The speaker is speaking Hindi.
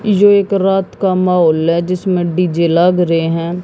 यह एक रात का माहौल है जिसमें डी_जे लग रहे हैं।